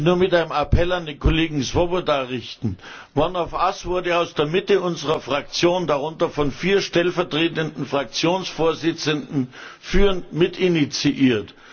Ich möchte mich nur mit einem Appell an den Kollegen Swoboda richten. One of Us wurde aus der Mitte unserer Fraktion, darunter von vier stellvertretenden Fraktionsvorsitzenden, führend mitinitiiert.